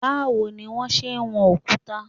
Báwo ni wón ṣe ń wọn òkúta?